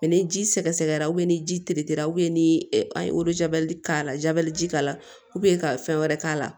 ni ji sɛgɛsɛgɛra ni ji teretera ni a ye k'a la ji k'a la ka fɛn wɛrɛ k'a la